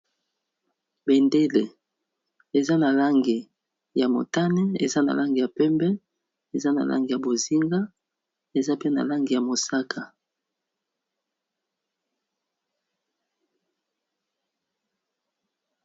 Bendele eza na langi ya motane, eza na langi ya pembe, eza na langi ya bozinga, eza pe na langi ya mosaka.